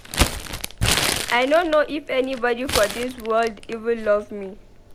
I no know if anybody for dis world even love me.